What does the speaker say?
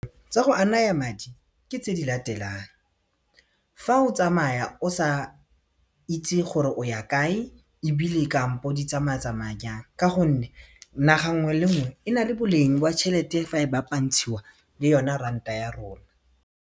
Tsa go anaya madi ke tse di latelang fa o tsamaya o sa itse gore o ya kae ebile kampo di tsamaya tsamaya jang ka gonne naga nngwe le nngwe e na le boleng jwa tšhelete fa e bapantshiwa le yone ranta ya rona.